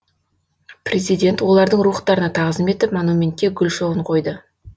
президент олардың рухтарына тағзым етіп монументке гүл шоғын қойды